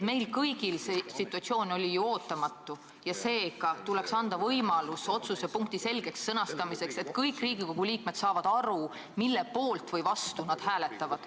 Meile kõigile oli see situatsioon ootamatu ja seega tuleks anda võimalus ettepaneku selgeks sõnastamiseks, et kõik Riigikogu liikmed saaksid aru, mille poolt või vastu nad hääletavad.